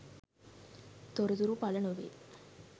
තොරතුරු පළ නොවේ